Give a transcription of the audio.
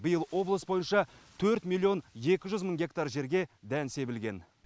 биыл облыс бойынша төрт миллион екі жүз мың гектар жерге дән себілген